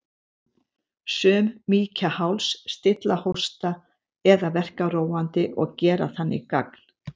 Sum mýkja háls, stilla hósta eða verka róandi og gera þannig gagn.